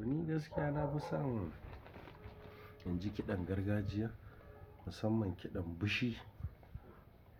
To ni gaskiya na fi son in ji kiɗan gargajiya musamman kiɗan bishi